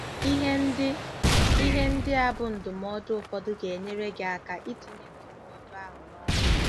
Ihe ndị Ihe ndị a bụ ndụmọdụ ụfọdụ ga-enyere gị aka itinye ndụmọdụ ahụ n'ọrụ.